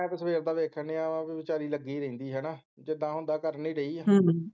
ਮੈਂ ਤਾਂ ਸਵੇਰ ਦਾ ਦੇਖਣ ਰਿਹਾ ਹਾਂ ਕਿ ਵਿਚਾਰੀ ਲੱਗੀ ਰਹਿੰਦੀ ਹੈ ਹੈ ਨਾ ਜਿੱਦਾਂ ਹੁੰਦਾ ਕਰਣ ਤੇ ਰਹੀ ਹੈ